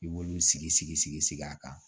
I b'olu sigi sigi sigi sigi a kan